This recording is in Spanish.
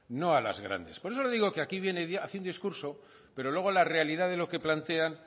no a las grandes por eso le digo que aquí viene haciendo discurso pero luego la realidad de lo que plantean